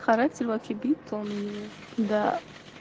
характер вообще бетон у него да